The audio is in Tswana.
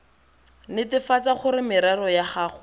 netefatsa gore merero ya gago